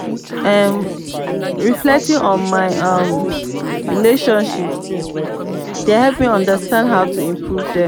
um reflecting on my um relationships dey help me understand how to improve them.